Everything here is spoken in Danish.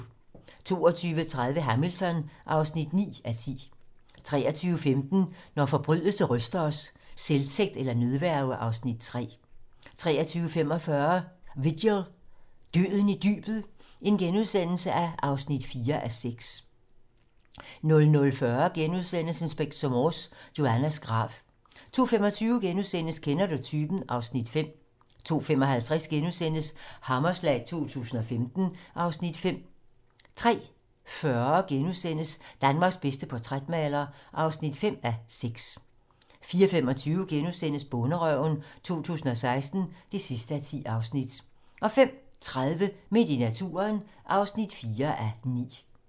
22:30: Hamilton (9:10) 23:15: Når forbrydelse ryster os: Selvtægt eller nødværge (Afs. 3) 23:45: Vigil - Døden i dybet (4:6)* 00:40: Inspector Morse: Joannas grav * 02:25: Kender du typen? (Afs. 5)* 02:55: Hammerslag 2015 (Afs. 5)* 03:40: Danmarks bedste portrætmaler (5:6)* 04:25: Bonderøven 2016 (10:10)* 05:30: Midt i naturen (4:9)